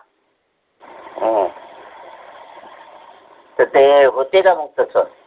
अह त ते होते का मग तसं?